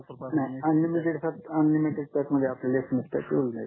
नाही unlimited unlimited pack मध्ये आपल्याला SMS पॅक मिडून जाईल